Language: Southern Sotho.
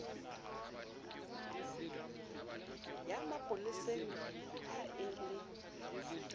ya mapoleseng ha e le